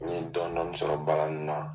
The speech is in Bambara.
N ye dɔɔni dɔɔni sɔrɔ baara nin na